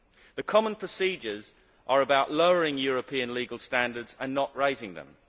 The common procedures are about lowering European legal standards and not raising them.